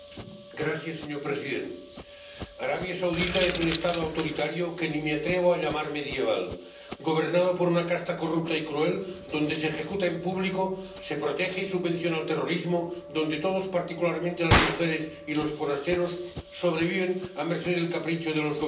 Señor presidente, Arabia Saudita es un Estado autoritario que ni me atrevo a llamar medieval, gobernado por una casta corrupta y cruel, donde se ejecuta en público, se protege y subvenciona el terrorismo, donde todos, particularmente las mujeres y los forasteros, sobreviven a merced del capricho de los gobernantes.